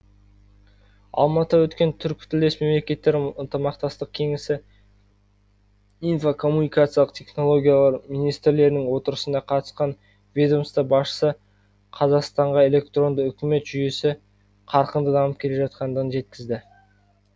алматыда өткен түркітілдес мемлекеттері ынтымақтастық кеңесі инфо коммуникациялық технологиялар министрлерінің отырысына қатысқан ведомство басшысы қазақстанға электронды үкімет жүйесі қарқынды дамып келе жатқандығын жеткізді